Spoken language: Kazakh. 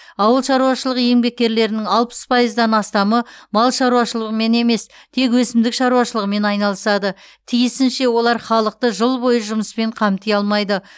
ауыл шаруашылығы еңбеккерлерінің алпыс пайыздан астамы мал шаруашылығымен емес тек өсімдік шаруашылығымен айналысады тиісінше олар халықты жыл бойы жұмыспен қамти алмайды